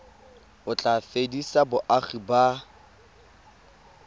o tla fedisa boagi ba